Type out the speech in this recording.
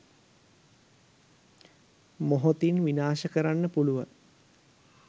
මොහොතින් විනාශ කරන්න පුළුවන්.